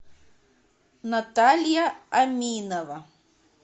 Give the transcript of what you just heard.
наталья аминова